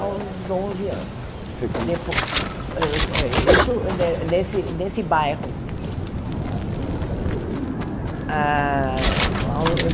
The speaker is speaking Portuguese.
aos onze anos, E foi quando você Eh uh eh isso nesse nesse bairro. Ah